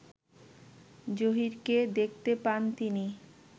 জহীরকে দেখতে পান তিনি